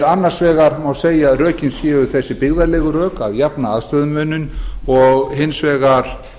annars vegar má segja að rökin séu hin byggðalegu rök að jafna aðstöðumuninn og hins vegar